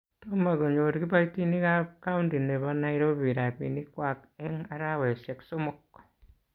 Tomo konyor kibaitinik ab kaunti nebo nairobi rabinik kwak eng araweshek somok